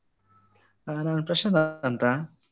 ನಾನು ಪ್ರಶಾಂತ್ ಅಂತ.